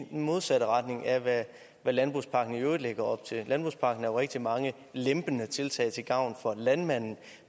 i den modsatte retning af hvad landbrugspakken i øvrigt lægger op til landbrugspakken rigtig mange lempende tiltag til gavn for landmanden